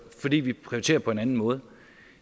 fordi vi prioriterer på en anden måde